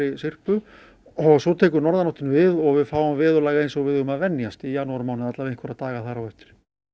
syrpu og svo tekur norðanáttin við og við fáum veðurlag eins og við eigum að venjast í janúarmánuði alla vega einhverja daga þar á eftir